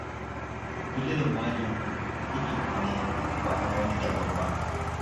Ku kula da muhallinku, haƙƙinku ne ba na wan daban ba